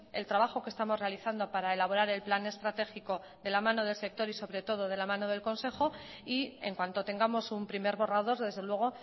el trabajo que estamos realizando para elaborar el plan estratégico de la mano del sector y sobre todo de la mano del consejo y en cuanto tengamos un primer borrador desde luego